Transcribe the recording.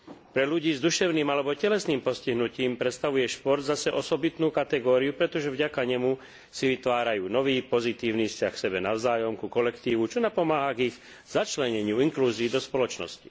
Pre ľudí s duševným alebo telesným postihnutím predstavuje šport zase osobitnú kategóriu, pretože vďaka nemu si vytvárajú nový pozitívny vzťah k sebe navzájom, ku kolektívu, čo napomáha k ich začleneniu, inklúzii do spoločnosti.